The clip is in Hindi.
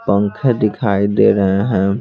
पंखे दिखाई दे रहे हैं।